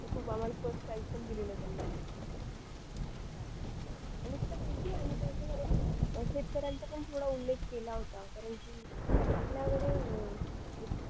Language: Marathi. तर खूप आम्हाला first prize पण दिलेलं त्यांनी आणि तुला माहिती आहे आम्ही शेतकऱ्यांचा पण थोडा उल्लेख केला होता आपल्याकडे